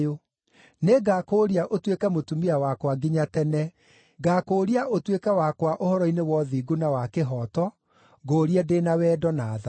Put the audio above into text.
Nĩngakũũria ũtuĩke mũtumia wakwa nginya tene; ngaakũũria ũtuĩke wakwa ũhoro-inĩ wa ũthingu na wa kĩhooto, ngũũrie ndĩ na wendo na tha.